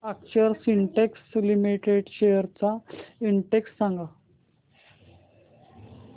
अक्षर Spintex limited shares चा index सांगा